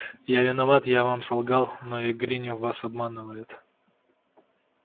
я виноват я вам солгал но и гринёв вас обманывает